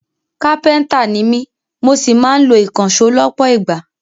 Kápẹ́ntà ni mí mo sì máa ń lo ìkànṣó lọ́pọ̀ ìgbà